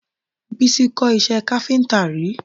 Bísí kọ́ iṣẹ́ káfíńtà rí